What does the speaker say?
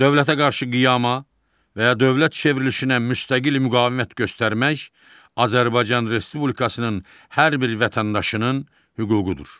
Dövlətə qarşı qiyama və ya dövlət çevrilişinə müstəqil müqavimət göstərmək Azərbaycan Respublikasının hər bir vətəndaşının hüququdur.